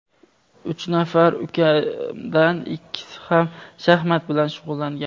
Uch nafar ukamdan ikkisi ham shaxmat bilan shug‘ullangan.